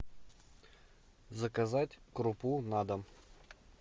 заказать крупу на дом